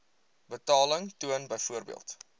betaling toon byvoorbeeld